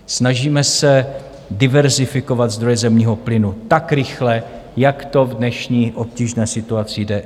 Snažíme se diverzifikovat zdroje zemního plynu tak rychle, jak to v dnešní obtížné situaci jde.